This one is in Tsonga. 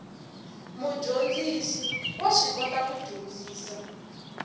mudyondzisi wa swi kota ku dyondzisa